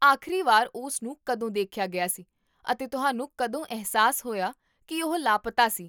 ਆਖਰੀ ਵਾਰ ਉਸ ਨੂੰ ਕਦੋਂ ਦੇਖਿਆ ਗਿਆ ਸੀ ਅਤੇ ਤੁਹਾਨੂੰ ਕਦੋਂ ਅਹਿਸਾਸ ਹੋਇਆ ਕੀ ਉਹ ਲਾਪਤਾ ਸੀ?